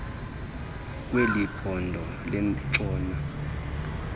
kweli phondo lentshona